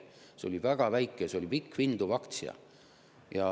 See oli väga väike, see oli pikk ja vinduv aktsia.